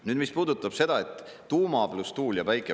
Nüüd, mis puudutab seda, et tuuma pluss tuul ja päike…